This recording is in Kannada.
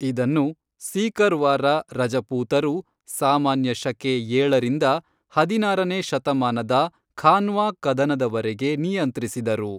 ಇದನ್ನು ಸೀಕರ್ವಾರ ರಜಪೂತರು ಸಾಮಾನ್ಯ ಶಕೆ ಏಳರಿಂದ ಹದಿನಾರನೇ ಶತಮಾನದ ಖಾನ್ವಾ ಕದನದವರೆಗೆ ನಿಯಂತ್ರಿಸಿದರು.